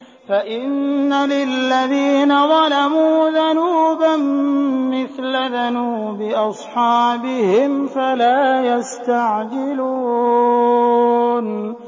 فَإِنَّ لِلَّذِينَ ظَلَمُوا ذَنُوبًا مِّثْلَ ذَنُوبِ أَصْحَابِهِمْ فَلَا يَسْتَعْجِلُونِ